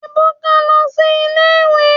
Ebuka lo si ile-iwe